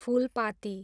Phulpati